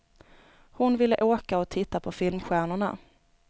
Hon ville åka och titta på filmstjärnorna.